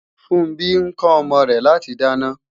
Funbí ń kọ́ ọmọ rẹ láti dáná